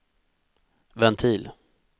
ventil